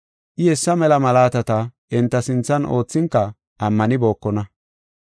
I hessa mela malaatata enta sinthan oothinka ammanibookona.